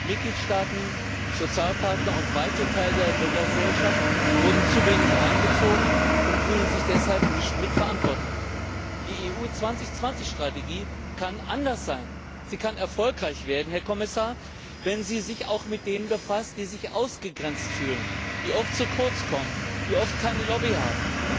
Mitgliedstaaten, Sozialpartner und weite Teile der Bürgergesellschaft wurden zu wenig einbezogen und fühlen sich deshalb nicht mitverantwortlich. Die Strategie EU 2020 kann anders sein. Sie kann erfolgreich werden, Herr Kommissar, wenn sie sich auch mit denen befasst, die sich ausgegrenzt fühlen, die oft zu kurz kommen, die oft keine Lobby haben.